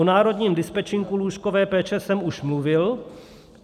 O národním dispečinku lůžkové péče jsem už mluvil.